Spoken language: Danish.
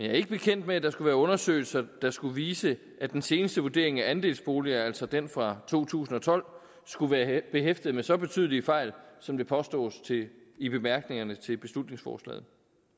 er ikke bekendt med at der skulle være undersøgelser der skulle vise at den seneste vurdering af andelsboliger altså den fra to tusind og tolv skulle være behæftet med så betydelige fejl som det påstås i bemærkningerne til beslutningsforslaget